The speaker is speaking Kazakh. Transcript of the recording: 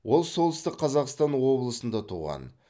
ол солтүстік қазақстан облысында туған